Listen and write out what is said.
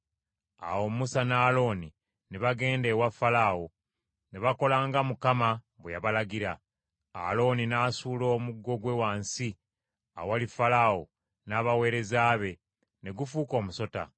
Awo Musa ne Alooni ne bagenda ewa Falaawo, ne bakola nga Mukama bwe yabalagira. Alooni n’asuula omuggo gwe wansi awali Falaawo n’abaweereza be, ne gufuuka omusota.